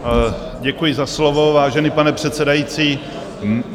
Děkuji za slovo, vážený pane předsedající.